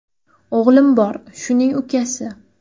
O‘g‘lim bor, shuning ukasi.